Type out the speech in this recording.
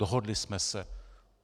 Dohodli jsme se.